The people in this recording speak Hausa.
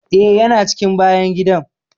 Eh, ya na cikin bayan gidan.